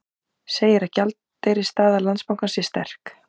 Segir að gjaldeyrisstaða Landsbankans sé sterk